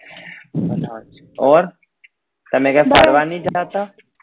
ઔર તમે ક્યાય ફરવા નહિ જતા?